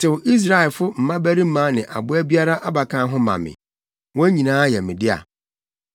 “Tew Israelfo mmabarima ne aboa biara abakan ho ma me; wɔn nyinaa yɛ me dea.”